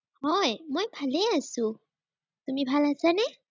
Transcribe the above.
হয়, মই ভালেই আছো। তুমি ভাল আছানে?